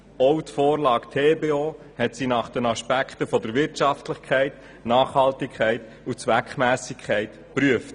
So hat sie auch die Vorlage TBO nach den Aspekten der Wirtschaftlichkeit, Nachhaltigkeit und Zweckmässigkeit geprüft.